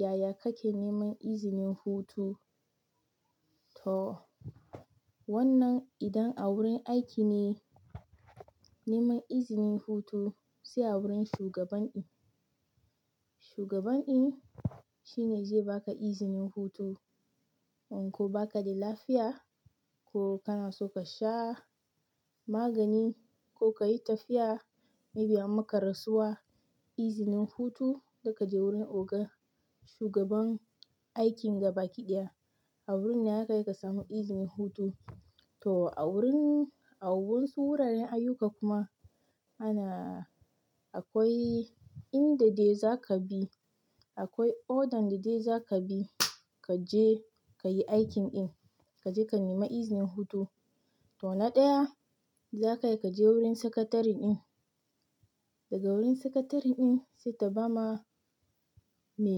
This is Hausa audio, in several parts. Yaya kake neman izinin hutu? To wannan idan a wurin aiki ne, neman izinin hutu, sai a wurin shugaban um. Shugaban in shi ne zai baka izinin hutu. In ko baka da lafiya, ko kana so ka sha magani ko ka yi tafiya, may be an maka rasuwa izinin hutu, za ka je wurin oga shugaban aikin gaba kiɗiya. A wurin ne haka kika samu izinin hutu. To a wurin a wasu wuraren ayyuka kuma. Ana akwai in da de za ka bi, akwai order da de za ka bi ka je ka yi aikin ɗin, ka je ka nemi izinin hutu. To na ɗaya, za kai kaje wurin sakatare ɗin. Daga wurin sakatare ɗin, sai ta bama me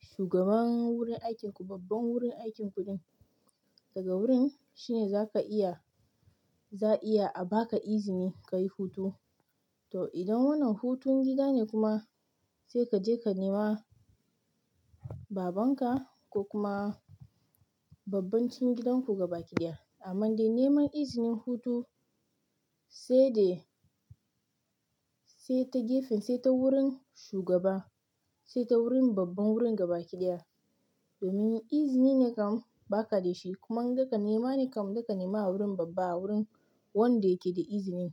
shugaban wurin aikin ku, babban wurin aikin ku ɗin. Daga wurin shi ne za ka iya, za iya a baka izini ka yi hutu. To idan wannan hutun gida ne kuma, sai ka je ka nema baban ka ko kuma babban cikin gidan ku gaba kiɗiya. Amman dai neman izinin hutu, sai dai sai ta gefen sai ta wurin shugaba, sai ta wurin babban wurin gaba kiɗiya. Domin izini ne kam baka da shi kuma daga nema ne kam za ka nema wurin babba a wurin wanda yake da izinin.